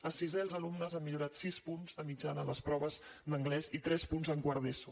a sisè els alumnes han millorat sis punts de mitjana a les proves d’anglès i tres punts a quart d’eso